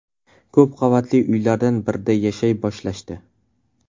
Ko‘p qavatli uylardan birida yashay boshlashdi.